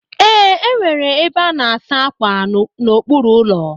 Ee, enwere ebe a na-asa ákwà n'okpuru ụlọ.